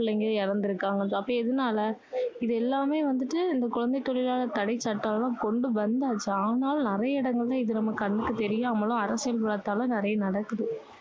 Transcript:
பிள்ளைங்க இறந்திருக்காங்க. அப்போ எதனால இது எல்லாமே வந்துட்டு, இந்த குழந்தை தொழிலாளர் தடை சட்டம் அதெல்லாம் கொண்டு வந்தாச்சு. ஆனாலும் நிறைய இடங்களில அது நம்ம கண்ணுக்கு தெரியாமலும், அரசியல் பலத்தாலும் நிறைய நடக்குது.